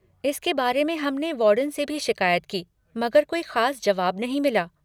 इसके बारे में हमने वार्डन से भी शिकायत की मगर कोई ख़ास जवाब नहीं मिला।